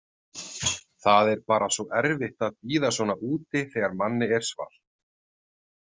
Það er bara svo erfitt að bíða svona úti þegar manni er svalt.